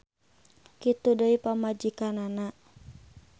Kitu deui pamajikanana.